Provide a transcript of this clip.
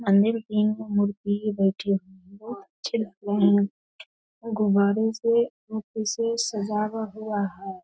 मंदिर की मूर्ति भी बैठे हुए हैं बहुत अच्छे लग रहे हैं और गुबारों से से सजा हुआ हुआ है ।